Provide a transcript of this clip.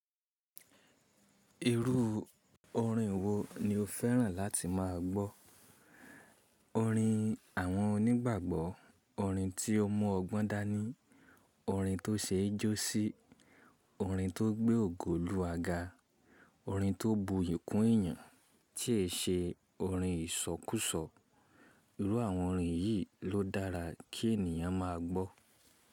Irú orin wo ni o fẹ́ràn láti máa gbọ́? Orin àwọn onígbàgbọ́, orin tí ó mu ọgbọ́n dání, orin tó ṣe é jó sí, orin tó gbé ògo oluwa ga, orin tó bu yiì kún èyàn, tí è ṣe orin ìsọkúsọ. Irú àwọn orin yìí ló dára kí ènìyàn máa gbọ́.